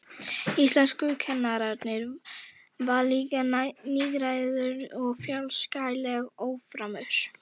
Íslenskukennarinn var líka nýgræðingur og fjarskalega óframur.